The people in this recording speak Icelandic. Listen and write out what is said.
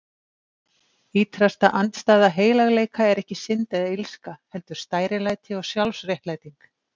Ýtrasta andstæða heilagleika er ekki synd eða illska, heldur stærilæti og sjálfsréttlæting.